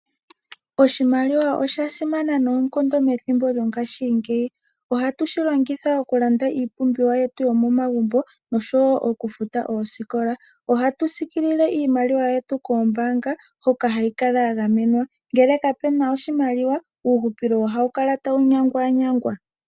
Oshimaliwa osha simana noonkondo methimbo lyongashingeyi. Ohatu shi longitha okulanda iipumbiwa yetu yomomagumbo noshowo okufuta oosikola. Ohatu sikilile iimaliwa yetu koombaanga hoka hayi kala ya gamenwa. Ngele kapu na oshimaliwa uuhupilo ohawu kala tawu nyangwanyangwa.